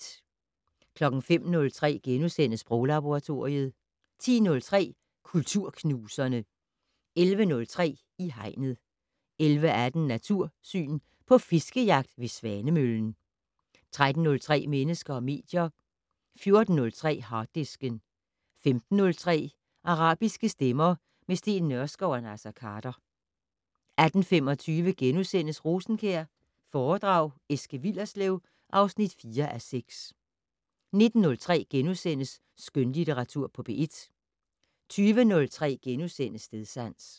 05:03: Sproglaboratoriet * 10:03: Kulturknuserne 11:03: I Hegnet 11:18: Natursyn: På fiskejagt ved Svanemøllen 13:03: Mennesker og medier 14:03: Harddisken 15:03: Arabiske stemmer - med Steen Nørskov og Naser Khader 18:25: Rosenkjær foredrag Eske Willerslev (4:6)* 19:03: Skønlitteratur på P1 * 20:03: Stedsans *